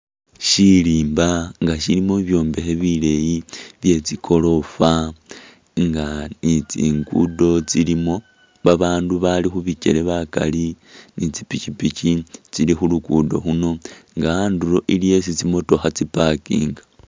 Shirimba nga shilimo bi byombekhe bileyi bye tsigorofa nga ni tsingudo tsilimo, ba bandu bali khubikyele bakali ni tsi pishipishi tsili khulukudo khuno nga andulo iliyo isi tsimotokha tsi pakinga.